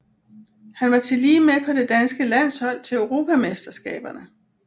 Han var tillige med på det danske landshold til Europamesterskaberne